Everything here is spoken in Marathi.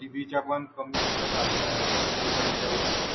TV चा पण कमी बिझनेस झालेला आहे. सोशल मीडियावर,